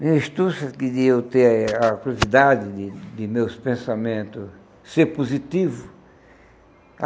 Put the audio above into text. Minha que de eu ter a curiosidade de de meus pensamentos ser positivo.